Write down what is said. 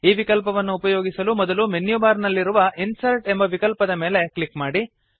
ಈ ವಿಕಲ್ಪವನ್ನು ಉಪಯೋಗಿಸಲು ಮೊದಲು ಮೆನ್ಯು ಬಾರ್ ನಲ್ಲಿರುವ ಇನ್ಸರ್ಟ್ ಎಂಬ ವಿಕಲ್ಪದ ಮೇಲೆ ಕ್ಲಿಕ್ ಮಾಡಿ